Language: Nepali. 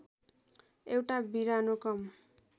एउटा बिरानो कम